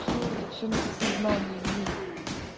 все это все на подсознании блин